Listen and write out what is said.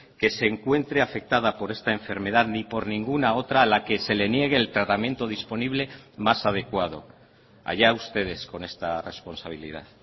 que se encuentre afectada por esta enfermedad ni por ninguna otra a la que se le niegue el tratamiento disponible más adecuado allá ustedes con esta responsabilidad